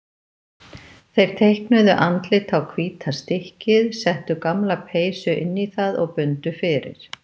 Þeir teiknuðu andlit á hvíta stykkið, settu gamla peysu inn í það og bundu fyrir.